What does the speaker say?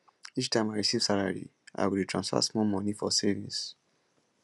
each time i receive salary i go dey transfer small money for savings